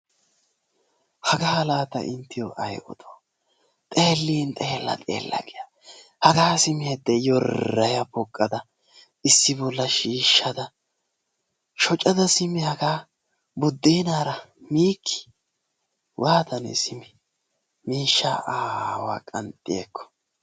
Hagaa laa ta inttiyo ay odoo! Xeellin xeella xeella giya hagaa simi hodde yorraya poqqada issi bolla shiishshada shocada simi hagaa buddeenaara miikkii! Waatanee simi miishshaa aawaa qanxxi ekko!